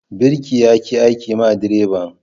Birki ya ki aiki ma direban.